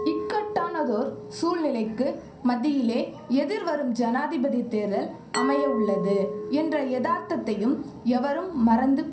இக்கட்டானதோர் சூழ்நிலைக்கு மத்தியிலே எதிர்வரும் ஜனாதிபதி தேர்தல் அமையவுள்ளது என்ற எதார்த்தத்தையும் எவரும் மறந்து